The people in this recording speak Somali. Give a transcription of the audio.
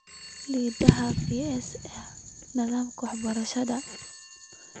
' Lixdhaa Ps' ee nidaamka waxbarashada